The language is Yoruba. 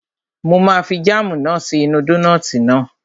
Mo máa fi jáàmù náà sí inú dónààtì náà